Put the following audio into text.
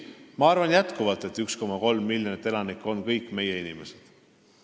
Ma arvan jätkuvalt, et 1,3 miljonit elanikku on kõik meie inimesed.